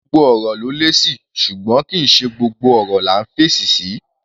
Gbogbo ọ̀rọ̀ ló lésì, ṣùgbọ́n kì í ṣe gbogbo ọ̀rọ̀ là ńf'èsì sí.